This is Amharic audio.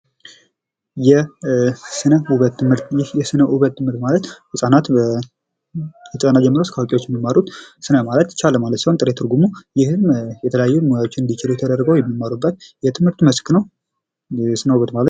የስነ ውበት ትምህርት ይህ የስነ ውበት ትምህርት ማለት ከህጻናት ጀምሮ እስከ አዋቂዎች የሚማሩት የትምህርት መስክ ነው።